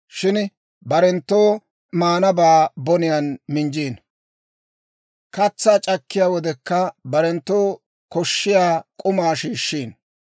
shin barenttoo maanabaa boniyaan minjjiino; katsaa c'akkiyaa wodekka barenttoo koshshiyaa k'umaa shiishshiino.